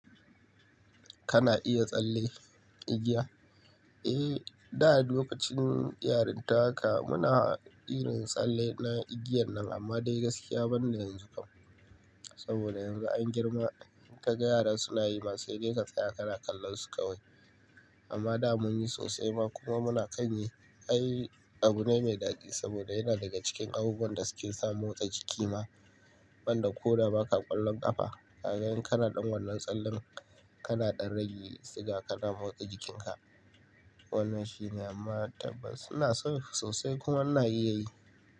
Kana iya tsalle igiya? Eh, da lokacin yarinta haka muna yin tsalle na igiyan nan amma dai gaskiya ban da yanzu kam. Saboda yanzu an girma in ka ga yara suna yi ma sai dai ka tsaya kana kallon su kawai. Amma da mun yi sosai kuma muna kan yi, ai abu ne mai daɗi saboda yana daga cikin abubuwan da suke sa motsa jiki ma. Wanda ko da ba ka ƙwallon ƙafa, ka ga kana ɗan wannan tsallan, kana ɗan rage siga kana motsa jikinka. Wannan shine amma tabas ina son su sosai kuma ana yi yayi.